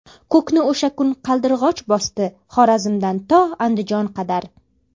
Ko‘kni o‘sha kun Qaldirg‘och bosdi Xorazmdan to Andijon qadar.